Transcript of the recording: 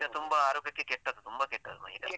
ಮೈದಾ ತುಂಬಾ ಆರೋಗ್ಯಕ್ಕೆ ಕೆಟ್ಟದು ತುಂಬಾ ಕೆಟ್ಟದು ಮೈದಾ.